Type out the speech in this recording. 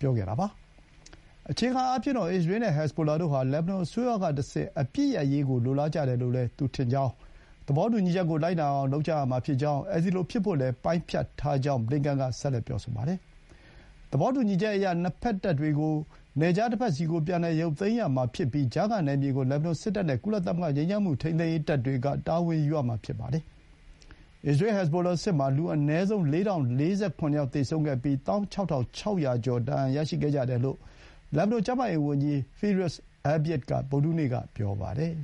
ပြောပါတယ်။ အခြေခံအားဖြင့်တော့ အစ္စရေး နဲ့ ဟက်ဇ်ဘိုလာတို့ဟာ လက်ဘနွန် အစိုးရ ကတဆင့် အပစ်ရပ်ရေး ကို လိုလားကြတယ်လို့ သူထင်ကြောင်း၊ သဘောတူညီချက်ကို လိုက်နာအောင် လုပ်ကြရမှာဖြစ်ကြောင်း၊ အဲဒီလို ဖြစ်ဖို့လည်း ပိုင်းဖြတ်ထားကြောင်း ဘလင်ကန် က ဆက်လက် ပြောဆိုပါတယ်။ သဘောတူညီချက်အရ နှစ်ဘက် တပ်တွေကို နယ်ခြား တဘက်စီကို ပြန်လည် ရုပ်သိမ်းရမှာ ဖြစ်ပြီး၊ ကြားခံနယ်မြေ ကို လက်ဘနွန်စစ်တပ် နဲ့ ကုလသမဂ္ဂ ငြိမ်းချမ်းမှု ထိန်းသိမ်းရေး တပ်တွေက တာဝန်ယူရမှာ ဖြစ်ပါတယ်။ အစ္စရေး ဟက်ဇ်ဘိုလာ စစ်ပွဲမှာ လူ အနည်းဆုံး ၄၀၄၇ ယောက် သေဆုံးခဲ့ပြီး ၁၆၆၀၀ ကျော် ဒဏ်ရာ ရရှိခဲ့ကြတယ်လို့ လက်ဘနွန် ကျန်းမာရေး ဝန်ကြီး Firass Abiad က ဗုဒ္ဓဟူးနေ့က ပြောပါတယ်။